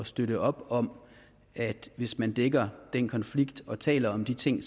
støtte op om at hvis man dækker den konflikt og taler om de ting